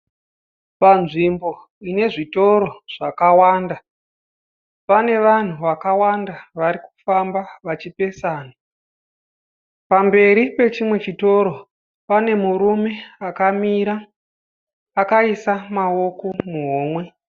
Panzvimbo ine zvitoro zvakawanda. Pane vanhu vakawanda varikufamba vachipesana. Pamberi pechimwe chitoro pane murume akamira akaisa maoko muhomwe.